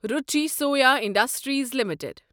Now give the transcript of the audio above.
Ruchi Soya Industries limited